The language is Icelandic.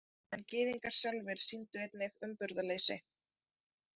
En Gyðingar sjálfir sýndu einnig umburðarleysi.